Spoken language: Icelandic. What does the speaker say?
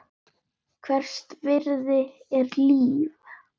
Hvers virði er líf?